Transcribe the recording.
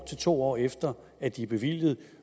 to år efter at de er bevilget